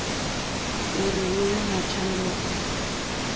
uri hu vhe na tshanduko